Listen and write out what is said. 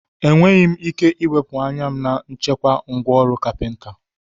Enweghị m ike iwepụ anya m na nchekwa ngwá ọrụ carpenter